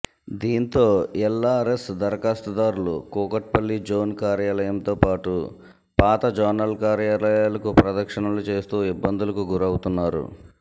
దీంతో ఎల్ఆర్ఎస్ ధరఖాస్తు దారులు కూకట్పల్లి జోన్ కార్యాలయంతోపాటు పాత జోనల్కార్యాలయాలకు ప్రదక్షణలు చేస్తూ ఇబ్బందులకు గురవుతున్నారు